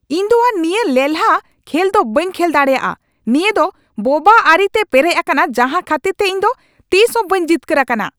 ᱤᱧ ᱫᱚ ᱟᱨ ᱱᱤᱭᱟᱹ ᱞᱮᱞᱦᱟ ᱠᱷᱮᱞ ᱫᱚ ᱵᱟᱹᱧ ᱠᱷᱮᱞ ᱫᱟᱲᱮᱭᱟᱜᱼᱟ ᱾ ᱱᱤᱭᱟᱹ ᱫᱚ ᱵᱳᱵᱟ ᱟᱹᱨᱤᱛᱮ ᱯᱮᱨᱮᱡ ᱟᱠᱟᱱᱟ ᱡᱟᱦᱟ ᱠᱷᱟᱹᱛᱤᱨᱛᱮ ᱤᱧ ᱫᱚ ᱛᱤᱥ ᱦᱚᱸ ᱵᱟᱹᱧ ᱡᱤᱛᱠᱟᱹᱨ ᱟᱠᱟᱱᱟ ᱾